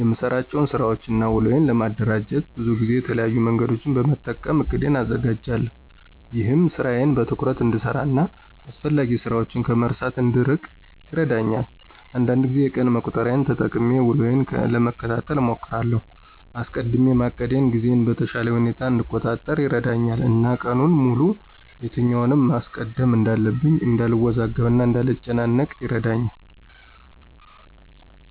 የምሰራቸውን ስራወችን እና ውሎዬን ለማደራጀት ብዙ ጊዜ የተለያዩ መንገዶችን በመጠቀም እቅዴን አዘጋጃለሁ። ይህም ስራዬን በትኩረት እንድሰራ እና አስፈላጊ ስራችን ከመርሳት እንድንርቅ ይረዳኛል። አንዳንድ ጊዜ የቀን መቁጠሪያን ተጠቅሜ ውሎዬን ለመከታተል እሞክራለሁ። አስቀድሜ ማቀዴ ጊዜዬን በተሻለ ሁኔታ እንድቆጣጠር ይረዳኛል እና ቀኑን ሙሉ የትኛውን ማስቀደም እንዳለብኝ እንዳልወዛገብ እና እንዳልጨናነቅ ይረዳኛል።